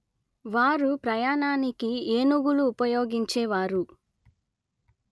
వారు ప్రయాణానికి ఏనుగులు ఉపయోగించేవారు